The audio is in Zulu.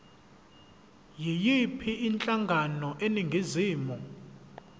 yiyiphi inhlangano eningizimu